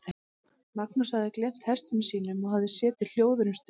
Magnús hafði gleymt hestum sínum og hafði setið hljóður um stund.